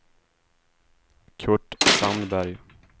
Kurt Sandberg